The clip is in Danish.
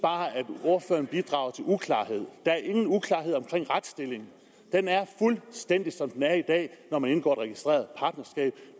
ordføreren bidrager til uklarhed der er ingen uklarhed omkring retsstillingen den er fuldstændig som den er i dag når man indgår et registreret partnerskab